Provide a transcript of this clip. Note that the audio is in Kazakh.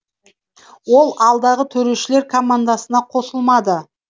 ол алдағы төрешілер командасына қосылмады